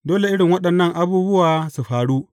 Dole irin waɗannan abubuwa su faru.